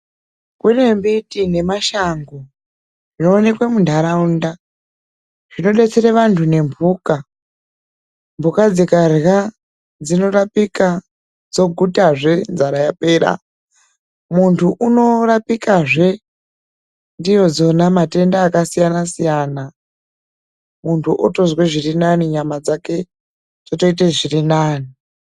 Kune mbiti emashango zvinoonekwa mundaraunda zvinodetsera vandu nembuka ,mbuka dzikarya dzinorapika dzoguta zve nzara yapera ,mundu anorapika zve ndidzonave matenda akasiyana siyaa muntu otonzwa zviri nane nyama dzake dzoita zviri nane,